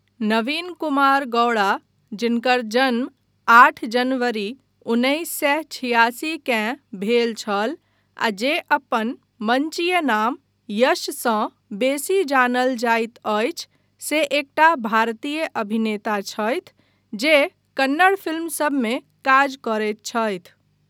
नवीन कुमार गौड़ा जिनकर जन्म आठ जनवरी उन्नैस सए छिआसी केँ भेल छल आ जे अपन मंचीय नाम यशसँ बेसी जानल जाइत अछि से एकटा भारतीय अभिनेता छथि जे कन्नड़ फिल्मसभमे काज करैत छथि।